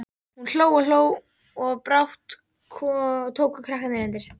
Hún hló og hló og brátt tóku krakkarnir undir.